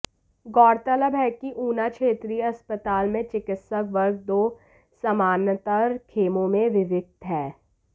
गौरतलब है कि ऊना क्षेत्रीय अस्पताल में चिकित्सक वर्ग दो समानांतर खेमों में विभक्त है